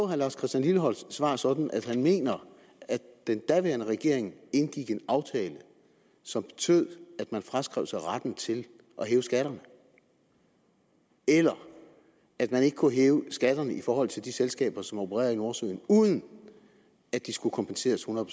herre lars christian lilleholts svar sådan at han mener at den daværende regering indgik en aftale som betød at man fraskrev sig retten til at hæve skatterne eller at man ikke kunne hæve skatterne i forhold til de selskaber som opererede i nordsøen uden at de skulle kompenseres hundrede